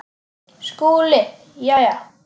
SKÚLI: Jæja!